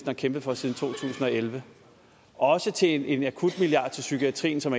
har kæmpet for siden to tusind og elleve og også til en akutmilliard til psykiatrien som